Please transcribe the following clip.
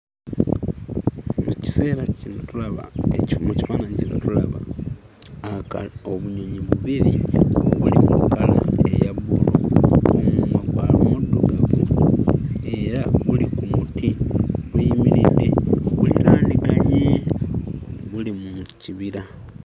Ekiseera kino tulaba mu kifaananyi kino tulaba aka obunyonyi bubiri, bulimu kkala eya bbululu, omumwa muddugavu era buli ku muti buyimiridde buliraaniganye; buli mu kibira.